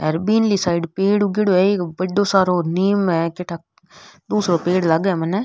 हेर बीनली साइड पेड़ उगेडो है एक बढ़ो सारो नीम है काई ठा दूसरो पेड़ लागे है मने।